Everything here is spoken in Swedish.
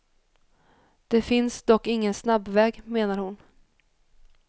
Det finns dock ingen snabbväg, menar hon.